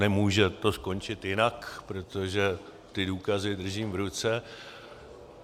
Nemůže to skončit jinak, protože ty důkazy držím v ruce.